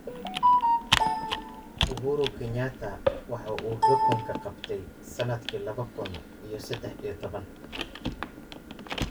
Uhuru Kenyatta waxa uu xukunka qabtay sannadkii laba kun iyo saddex iyo toban.